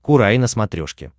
курай на смотрешке